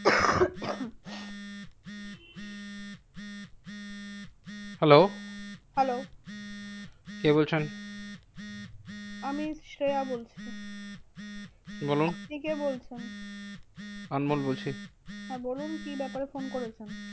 Hello hello কে বলছেন? আমি শ্রেয়া বলছি। বলো, আপনি কে বলছেন? আনমোল বলছি। হ্যাঁ বলুন, কি ব্যাপারে ফোন করেছেন?